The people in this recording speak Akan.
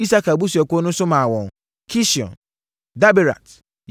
Isakar abusuakuo no nso maa wɔn: Kision, Daberat,